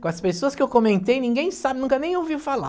Com as pessoas que eu comentei, ninguém sabe, nunca nem ouviu falar.